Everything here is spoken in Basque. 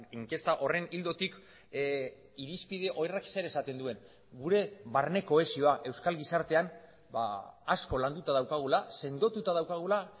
inkesta horren ildotik irizpide horrek zer esaten duen gure barne kohesioa euskal gizartean asko landuta daukagula sendotuta daukagula